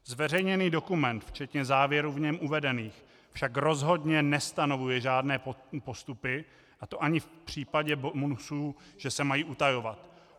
Zveřejněný dokument včetně závěrů v něm uvedených však rozhodně nestanovuje žádné postupy, a to ani v případě bonusů, že se mají utajovat.